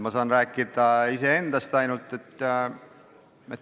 Ma saan rääkida ainult iseendast.